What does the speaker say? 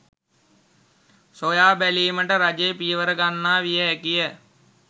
සොයා බැලීමට රජය පියවර ගන්නවා විය හැකිය.